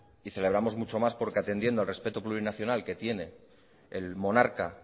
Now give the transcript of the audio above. y celebramos mucho más porque atendiendo al respeto plurinacional que tiene el monarca